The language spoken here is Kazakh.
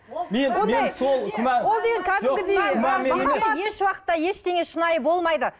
еш уақытта ештеңе шынайы болмайды